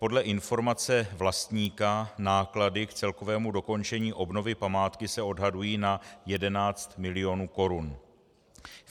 Podle informace vlastníka náklady k celkovému dokončení obnovy památky se odhadují na 11 mil. korun.